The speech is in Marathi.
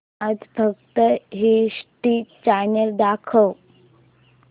आज फक्त हिस्ट्री चॅनल दाखव